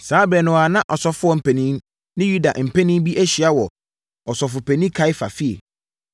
Saa ɛberɛ no ara na asɔfoɔ mpanin ne Yudafoɔ mpanin bi ahyia mu wɔ Ɔsɔfopanin Kaiafa efie,